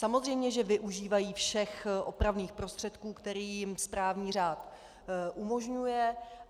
Samozřejmě že využívají všech opravných prostředků, které jim správní řád umožňuje.